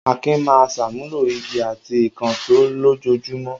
Akin máa ń ṣàmúlò igi àti ìkànṣó lójoojúmọ́.